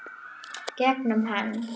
Gegnum hann.